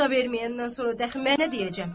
Ata verməyəndən sonra dəxi mənə nə deyəcəm?